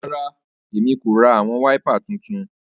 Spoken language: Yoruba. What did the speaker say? Rara, Èmí ko rá awọn waipà títún